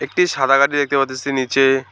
টি সাদা গাড়ি দেখতে পারতাসি নীচে।